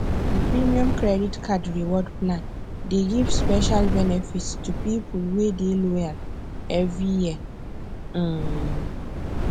di premium credit card reward plan dey give special benefits to people wey dey loyal every year um